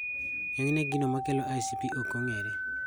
Ng'enyne gino makelo ICP ok ong'ere